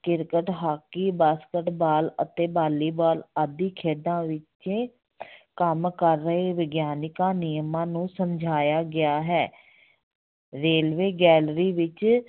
cricket, hockey, basketball ਅਤੇ volleyball ਆਦਿ ਖੇਡਾਂ ਵਿੱਚ ਕੰਮ ਕਰ ਰਹੇ ਵਿਗਿਆਨਿਕ ਨਿਯਮਾਂ ਨੂੰ ਸਮਝਾਇਆ ਗਿਆ ਹੈ railway gallery ਵਿੱਚ